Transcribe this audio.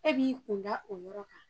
E b'i kun da o yɔrɔ kan.